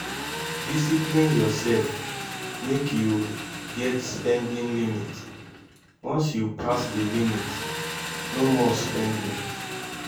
discipline urself mek yu get spending limit once yu pass di limit no more spending